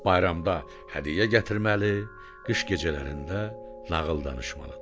Bayramda hədiyyə gətirməli, qış gecələrində nağıl danışmalıdır.